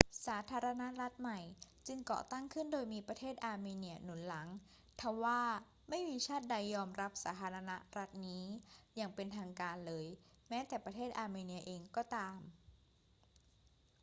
สาธารณรัฐใหม่จึงก่อตั้งขึ้นโดยมีประเทศอาร์เมเนียหนุนหลัง ทว่าไม่มีชาติใดยอมรับสาธารณรัฐนี้อย่างเป็นทางการเลย แม้แต่ประเทศอาร์เมเนียเองก็ตาม